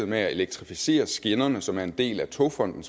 med at elektrificere skinnerne som er en del af togfonden